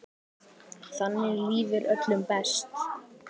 Þannig líður öllum best.